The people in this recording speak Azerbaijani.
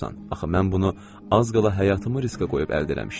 Axı mən bunu az qala həyatımı riskə qoyub əldə eləmişdim.